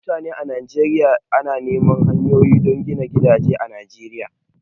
Mutane a Najeriya na neman hanyoyi don gina gidaje a Najeriya